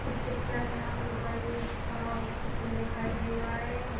इस पिक्चर में हमें एक बड़ी इच्छा हॉस्पिटल दिखाई दे रहा है और --